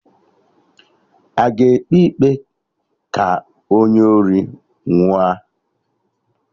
Aga ekpe ikpe ka onye ori nwụọ?